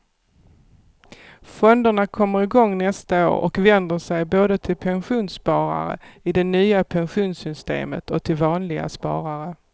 Fonderna kommer igång nästa år och vänder sig både till pensionssparare i det nya pensionssystemet och till vanliga sparare.